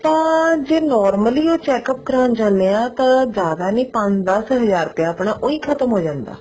ਆਪਾਂ ਜੇ normally ਉਹ check up ਕਰਾਉਣ ਜਾਣੇ ਹਾਂ ਤਾਂ ਜਿਆਦਾ ਨੀ ਪੰਜ ਦਸ ਹਜ਼ਾਰ ਰੁਪਿਆ ਆਪਣਾ ਉਹੀ ਖਤਮ ਹੋ ਜਾਂਦਾ